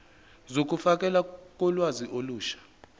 zokufakelwa kolwazi olusha